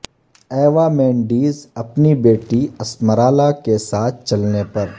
Eva Mendes اپنی بیٹی Esmeralda کے ساتھ چلنے پر